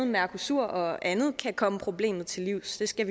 mercosur og andet komme problemet til livs det skal